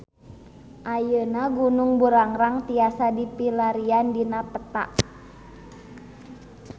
Ayeuna Gunung Burangrang tiasa dipilarian dina peta